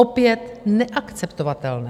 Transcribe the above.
Opět neakceptovatelné.